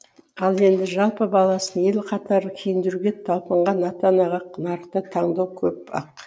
ал енді жалпы баласын ел қатарлы киіндіруге талпынған ата анаға нарықта таңдау көп ақ